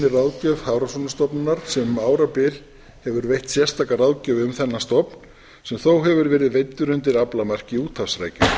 ráðgjöf hafrannsóknastofnunar sem um árabil hefur veitt sérstaka ráðgjöf um þennan stofn sem þó hefur verið veiddur undir aflamarki úthafsrækju